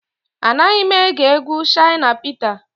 Anaghị m ege egwu Shina Peter